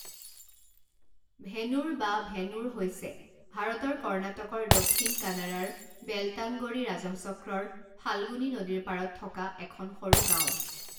ভেনুৰ বা ভেনূৰ হৈছে ভাৰতৰ কৰ্ণাটকৰ দক্ষিণ কানাড়াৰ বেলটাংগড়ি ৰাজহচক্ৰৰ ফাল্গুনী নদীৰ পাৰত থকা এখন সৰু গাঁও।